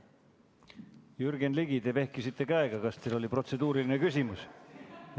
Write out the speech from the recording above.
Jürgen Ligi, te vehkisite käega, kas teil oli protseduuriline küsimus?